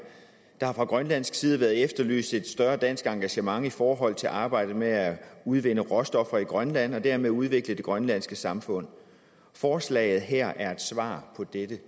der har fra grønlandsk side været efterlyst et større dansk engagement i forhold til arbejdet med at udvinde råstoffer i grønland og dermed udvikle det grønlandske samfund forslaget her er et svar på dette